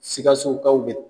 Sikasokaw be